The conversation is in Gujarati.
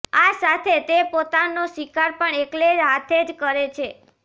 આ સાથે તે પોતાનો શિકાર પણ એકલે હાથે જ કરે છે